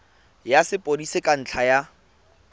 ya sepodisi ka ntlha ya